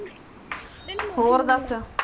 ਹੋਰ ਦੱਸ?